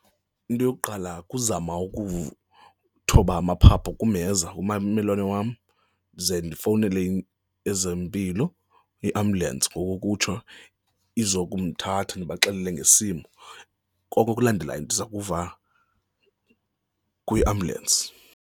Into yokuqala kuzama ukuthoba amaphaphu kumheza ummelwane wam ze ndifowunele ezempilo, i-ambulance ngokokutsho, izokumthatha ndibaxelele ngesimo, konke okulandelayo ndiza kuva kwi-ambulance.